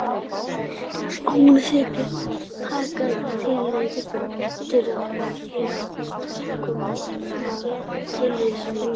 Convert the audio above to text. Hún þykir taka tillit til of fárra þátta sem koma að tilvist lífs.